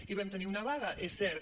hi vam tenir una vaga és cert